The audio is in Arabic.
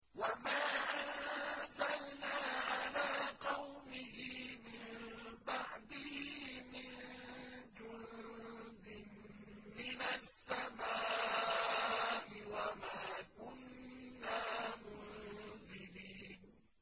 ۞ وَمَا أَنزَلْنَا عَلَىٰ قَوْمِهِ مِن بَعْدِهِ مِن جُندٍ مِّنَ السَّمَاءِ وَمَا كُنَّا مُنزِلِينَ